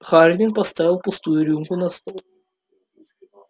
хардин поставил пустую рюмку на стол и сказал